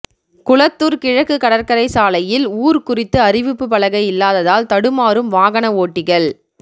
குளத்தூர் கிழக்கு கடற்கரைசாலையில் ஊர் குறித்து அறிவிப்பு பலகை இல்லாததால் தடுமாறும் வாகன ஓட்டிகள்